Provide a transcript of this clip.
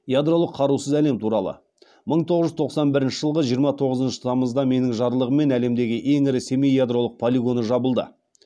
ядролық қарусыз әлем туралы мың тоғыз жүз тоқсан бірінші жылғы жиырма тоңызыншы тамызда менің жарлығыммен әлемдегі ең ірі семей ядролық полигоны жабылды